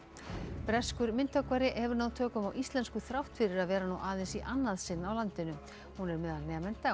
breskur myndhöggvari hefur náð tökum á íslensku þrátt fyrir að vera nú aðeins í annað sinn á landinu hún er meðal nemenda á